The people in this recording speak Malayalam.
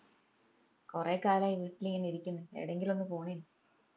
കൊറേ കാലായി വീട്ടിലിങ്ങന ഇരിക്കിന്ന് എടെയെങ്കിലും ഒന്ന് പോണേനു